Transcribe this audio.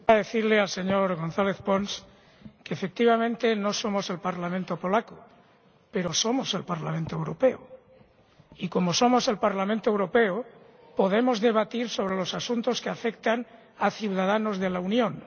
Señor Presidente, quiero decirle al señor González Pons que, efectivamente, no somos el Parlamento polaco, pero somos el Parlamento Europeo. Y, como somos el Parlamento Europeo, podemos debatir sobre los asuntos que afectan a ciudadanos de la Unión.